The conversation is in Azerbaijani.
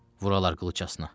Vuralar qılıcasına.